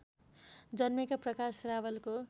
जन्मेका प्रकाश रावलको